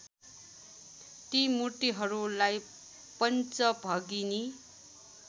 ती मूर्तिहरूलाई पञ्चभगिनी